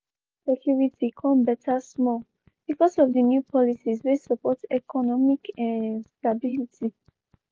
im job security kon better small bcoz of di new policies wey support economic um stability.